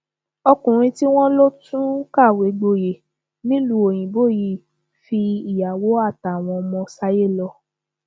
ọkùnrin tí wọn lọ tún kàwé gboyè nílùú òyìnbó yìí fi ìyàwó àtàwọn ọmọ sáyé lọ